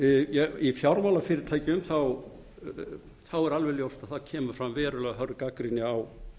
að í fjármálafyrirtækjum er alveg ljóst að það kemur fram verulega hröð gagnrýni á